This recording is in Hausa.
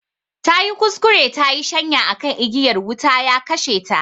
Tayi kuskure tayi shanya akan igiyar wuta, ya kashe ta